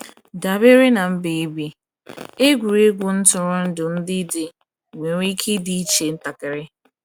Dabere na mba ị bi, egwuregwu ntụrụndụ ndị dị, nwere ike ịdị iche ntakịrị.